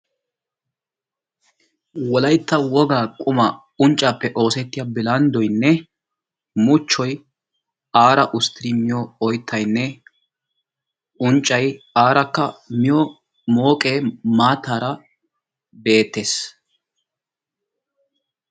Wolaytta wogaa qumaa unccaappe oosettiya bilanddoynne muchchoy aara usttin miyo oyttaynne unccay aarakka miyo mooqee maattaara beettees.